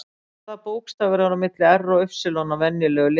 Hvaða bókstafur er á milli R og Y á venjulegu lyklaborði?